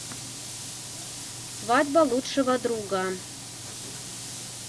свадьба лучшего друга